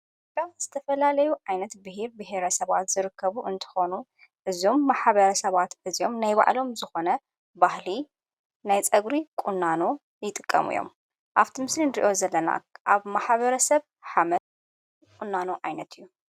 ካ ዝተፈላለዩ ዓይነት ብሂር ብሔረ ሰባት ዝርከቡ እንተኾኑ እዞም ማሓበረ ሰባት እዚኦም ናይ ባዕሎም ዝኾነ ባህሊ ናይ ጸጕሪ ቊናኑ ይጥቀሙ እዮም ኣብቱምስሊ ንርእዮ ዘለና ኣብ ማሓበረ ሰብ ኃመል ቊናኑ ዓይነት እዩ።